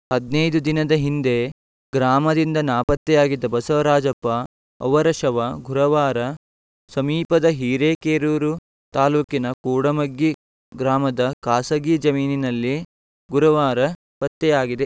ಹದಿನೈದು ದಿನದ ಹಿಂದೆ ಗ್ರಾಮದಿಂದ ನಾಪತ್ತೆಯಾಗಿದ್ದ ಬಸವರಾಜಪ್ಪ ಅವರ ಶವ ಗುರವಾರ ಸಮೀಪದ ಹಿರೇಕೇರೂರು ತಾಲೂಕಿನ ಕೂಡಮಗ್ಗಿ ಗ್ರಾಮದ ಖಾಸಗಿ ಜಮೀನಿನಲ್ಲಿ ಗುರುವಾರ ಪತ್ತೆಯಾಗಿದೆ